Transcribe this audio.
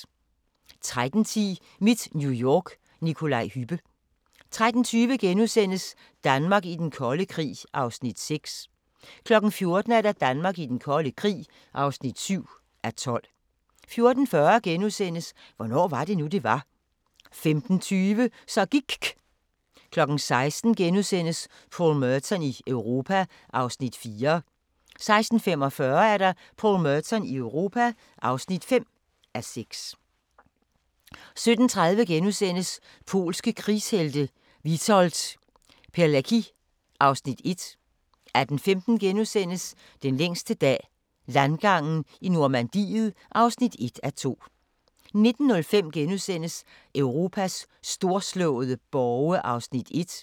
13:10: Mit New York – Nikolaj Hübbe 13:20: Danmark i den kolde krig (6:12)* 14:00: Danmark i den kolde krig (7:12) 14:40: Hvornår var det nu, det var? * 15:25: Så gIKK' 16:00: Paul Merton i Europa (4:6)* 16:45: Paul Merton i Europa (5:6) 17:30: Polske krigshelte – Witold Pelecki (Afs. 1)* 18:15: Den længste dag – landgangen i Normandiet (1:2)* 19:05: Europas storslåede borge (1:3)*